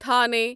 تھانے